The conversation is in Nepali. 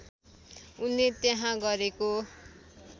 उनले त्यहाँ गरेको